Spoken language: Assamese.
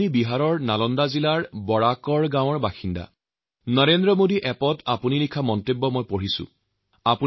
বিহাৰৰ নালন্দা জিলাৰ বৰাকৰ গাঁৱৰ শ্ৰী ঘণশ্যাম কুমাৰে নৰেন্দ্ৰ মোদী এপত লিখা মতামত পঢ়িবলৈ পাইছো